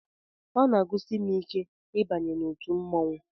Ọ na-agụsi m ike ịbanye n'otu mmọnwụ